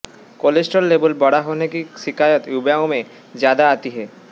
cholesterol level बड़ा होने की शिकायत युवाओं मे ज्यादा आती है